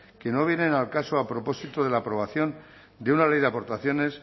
que no vienen al caso a propósito de la aprobación de una ley de aportaciones